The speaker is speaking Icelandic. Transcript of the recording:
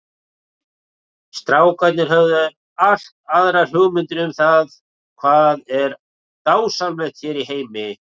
Strákarnir höfðu allt aðrar hugmyndir um það hvað er dásamlegt hér í heimi.